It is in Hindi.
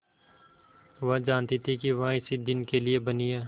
वह जानती थी कि वह इसी दिन के लिए बनी है